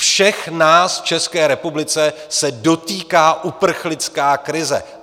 Všech nás v České republice se dotýká uprchlická krize.